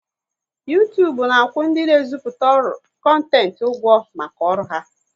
Uytubu na akwụ ndị na e ziputa kontent ụgwọ maka ọrụ ha